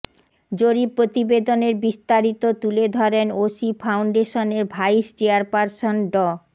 জরিপ প্রতিবেদনের বিস্তারিত তুলে ধরেন ওশি ফাউন্ডেশনের ভাইস চেয়ারপারসন ড